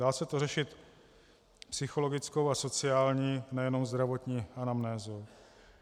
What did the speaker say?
Dá se to řešit psychologickou a sociální, nejenom zdravotní anamnézou.